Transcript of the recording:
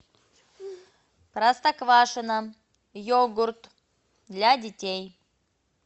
простоквашино йогурт для детей